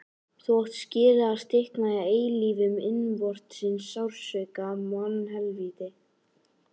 Þú átt skilið að stikna í eilífum innvortis sársauka, mannhelvíti.